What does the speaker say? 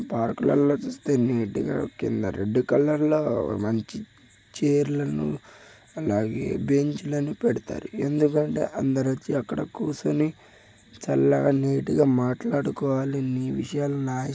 park లల్ల చూస్తే neat గా కింద రెడ్ కలర్ లోమంచి చైర్లా ను అలాగే బెంచ్ లను పెడతారు ఎందుకంటే అందరు వచ్చి అక్కడ కూర్చొని చల్లగా నీట్ గా మాట్లాడుకోవాలి ని విషయాలు నాయి --